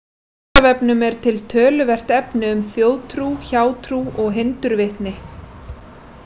Á Vísindavefnum er til töluvert efni um þjóðtrú, hjátrú og hindurvitni.